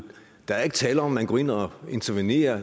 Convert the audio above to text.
der er ikke tale om at man går ind og intervenerer